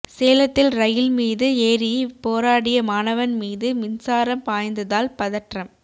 சேலத்தில் ரயில் மீது ஏறி போராடிய மாணவன் மீது மின்சாரம் பாய்ந்ததால் பதற்றம்